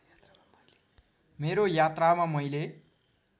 मेरो यात्रामा मैले